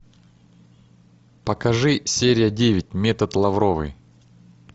покажи серия девять метод лавровой